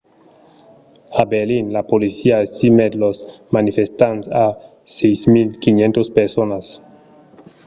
a berlin la polícia estimèt los manifestants a 6 500 personas